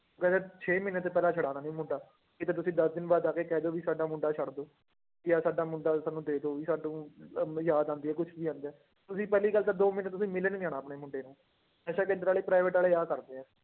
ਕਹਿੰਦੇ ਛੇ ਮਹੀਨੇ ਤੋਂ ਪਹਿਲਾਂ ਛੁਡਾਉਣਾ ਨੀ ਮੁੰਡਾ, ਕਿਤੇ ਤੁਸੀਂ ਦਸ ਦਿਨ ਬਾਅਦ ਆ ਕੇ ਕਹਿ ਦਓ ਵੀ ਸਾਡਾ ਮੁੰਡਾ ਛੱਡ ਦਓ ਜਾਂ ਸਾਡਾ ਮੁੰਡਾ ਸਾਨੂੰ ਦੇ ਦਓ ਵੀ ਸਾਨੂੰ ਅਹ ਯਾਦ ਆਉਂਦੀ ਹੈ ਕੁਛ ਵੀ ਆਉਂਦਾ ਹੈ, ਤੁਸੀਂ ਪਹਿਲੀ ਗੱਲ ਤਾਂ ਦੋ ਮਹੀਨੇ ਤੁਸੀਂ ਮਿਲਣ ਨੀ ਆਉਣਾ ਆਪਣੇ ਮੁੰਡੇ ਨੂੰ, ਨਸ਼ਾ ਕੇਂਦਰ ਵਾਲੇ private ਵਾਲੇ ਆਹ ਕਰਦੇ ਆ